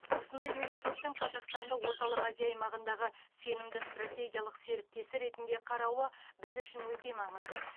осындай мемлекеттің қазақстанды орталық азия аймағындағы сенімді стратегиялық серіктесі ретінде қарауы біз үшін өте маңызды